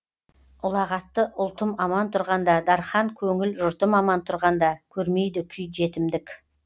ұлағатты ұлтым аман тұрғанда дархан көңіл жұртым аман тұрғанда көрмейді күй жетімдік